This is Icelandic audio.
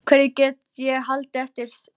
Hverju get ég haldið eftir sjálfur?